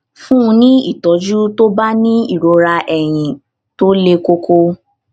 fún un ní ìtójú tó bá ní ìrora eyín tó le koko